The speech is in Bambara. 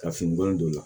Ka finikolon don o la